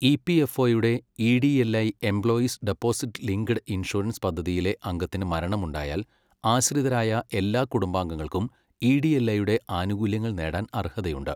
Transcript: ഇപിഎഫ്ഒയുടെ EDLI employees deposit linked insurance പദ്ധതിയിലെ അംഗത്തിനു മരണമുണ്ടായാൽ ആശ്രിതരായ എല്ലാ കുടുംബാംഗങ്ങൾക്കും ഇഡിഎൽഐയുടെ ആനുകൂല്യങ്ങൾ നേടാൻ അർഹതയുണ്ട്.